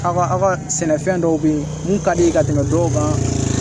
Aw ka aw ka sɛnɛfɛn dɔw bɛ ye mun ka di ka tɛmɛ dɔw kan